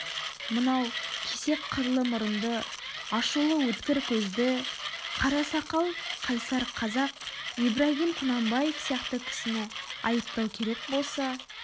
мынау кесек қырлы мұрынды ашулы өткір көзді қара сақал қайсар қазақ ибрагим құнанбаев сияқты кісіні айыптау керек болса